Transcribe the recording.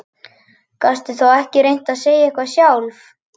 Gastu þá ekki reynt að segja eitthvað sjálf?